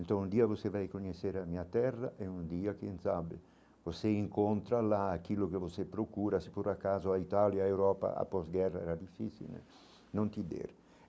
Então, um dia você vai conhecer a minha terra, e um dia, quem sabe, você encontra lá aquilo que você procura, se por acaso, a Itália e a Europa após guerra era difícil, não te der.